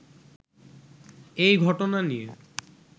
এই ঘটনা নিয়ে